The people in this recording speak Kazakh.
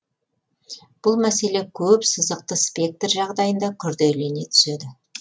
бұл мәселе көп сызықты спектр жағдайында күрделене түседі